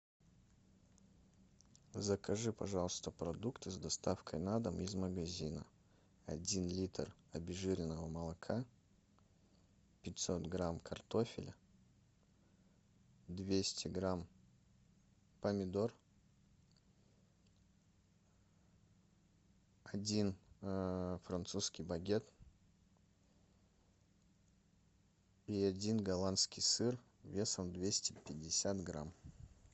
закажи пожалуйста продукты с доставкой на дом из магазина один литр обезжиренного молока пятьсот грамм картофеля двести грамм помидор один французский багет и один голландский сыр весом двести пятьдесят грамм